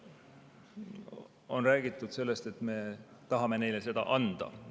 On räägitud sellest, et me tahame neile seda anda.